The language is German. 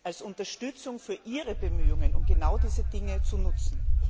als Unterstützung für Ihre Bemühungen um genau diese Dinge zu nutzen?